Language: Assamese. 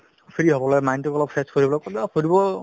free হ'বলৈ mine তোক অলপ fresh কৰিবলৈ হ'লেও ফুৰিব